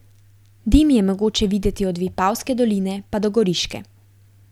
Dim je mogoče videti od Vipavske doline pa do Goriške.